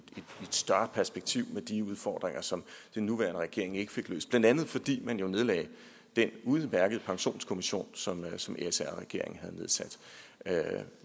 større perspektiv med de udfordringer som den nuværende regering ikke fik løst blandt andet fordi man jo nedlagde den udmærkede pensionskommission som som sr regeringen havde nedsat